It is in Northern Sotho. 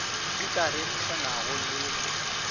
di ka ririšanwago le go